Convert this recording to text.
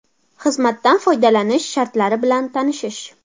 Xizmatdan foydalanish shartlari bilan tanishish.